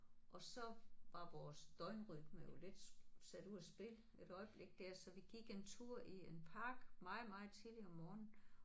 Og så var vores døgnrytme jo lidt sat ud af spil et øjeblik der så vi gik en tur i en park meget meget tidligt om morgenen